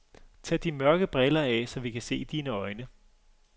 Tag de mørke briller af, så vi kan se dine øjne.